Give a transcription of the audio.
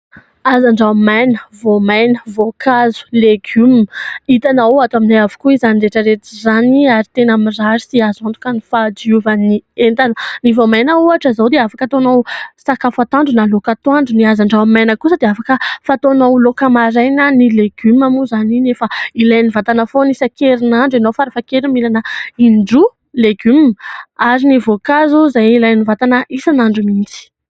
hazan-dranomaina, voamaina, voakazo, legioma ;hitanao ato aminay avokoa izany rehetra rehetra izany ary teny mirary sy azo antoka ny fahadiovan'ny entana ;ny voamaina ohatra izao dia afaka ataonao sakafa atoandro na laoka atoandro ;ny hazan-drano maina kosa dia afaka ataonao laoka maraina ;ny legioma moa izany efa ilain'ny vatana foana; isakerin'andro ianao farafahakeliny mihinana indroa legioma ary ny voankazo izay ilain'ny vatana isan'andro mihitsy